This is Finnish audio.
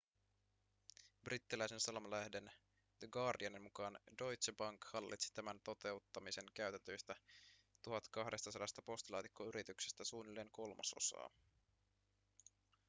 brittiläisen sanomalehden the guardianin mukaan deutsche bank hallitsi tämän toteuttamiseen käytetyistä 1 200 postilaatikkoyrityksestä suunnilleen kolmasosaa